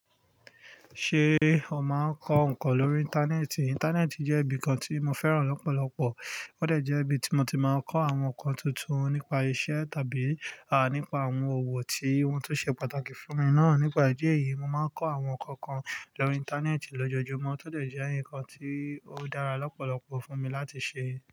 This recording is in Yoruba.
Ṣé o máa ń kọ́ nǹkan lórí Íńtánẹ́ẹ̀tì? Íńtánẹ́ẹ̀tì jẹ́ ibi kan tí mo fẹ́ràn lọ́pọ̀lọ̀pọ̀. Ó dẹ́ jég3ibi tí mo ti máa ń kọ́ àwọn nǹkan tuntun nípa iṣẹ́ tàbí, à, nípa àwọn òwò tí wọ́n tó ṣe pàtàkì fún mi náà. Nípa ìdí èyí, mo máa ń kọ́ àwọn nǹkan kan lórí Íńtánẹ́ẹ̀tì lójoojúmọ́, tó dè jẹ́ ǹkan tí ó dára lọ́pọ̀lọ̀pọ̀ fún mi láti ṣe.